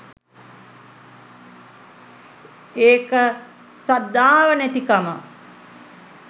ඒක ශ්‍රද්ධාව නැතිකම